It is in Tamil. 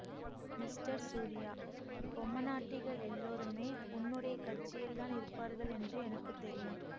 மிஸ்டர் சூரியா பொம்மனாட்டிகள் எல்லோருமே உன்னுடைய கட்சியில்தான் இருப்பார்கள் என்று எனக்கு தெரியும்